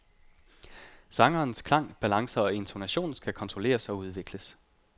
Sangerens klang, balance og intonation skal kontrolleres og udvikles.